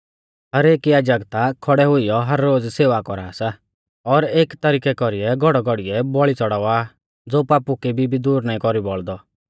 हर एक याजक ता खौड़ै हुइयौ हर रोज़ सेवा कौरा सा और एकी तरिकै कौरी घौड़ौघौड़ीयै बौल़ी च़ड़ावा आ ज़ो पापु केबी भी दूर नाईं कौरी बौल़दै